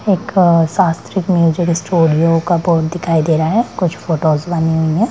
एक शास्त्रिक music studio का बोर्ड दिखाई दे रहा है कुछ फोटोज बनी हुई है।